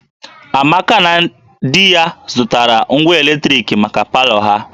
Amaka na di ya zụtara ngwa eletrik maka palọ ha